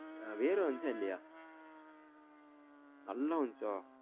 வேர்வை வந்துச்சா இல்லையா நல்ல வந்துச்ச